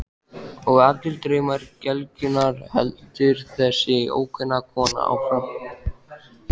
Og allir draumar gelgjunnar, heldur þessi ókunna kona áfram.